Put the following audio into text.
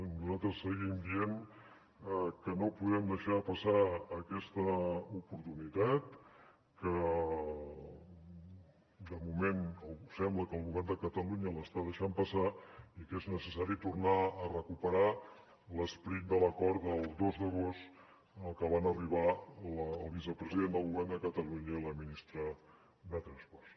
nosaltres seguim dient que no podem deixar passar aquesta oportunitat que de moment sembla que el govern de catalunya l’està deixant passar i que és necessari tornar a recuperar l’esperit de l’acord del dos d’agost al que van arribar el vicepresident del govern de catalunya i la ministra de transports